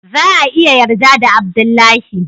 za a iya yarda da Abdullahi.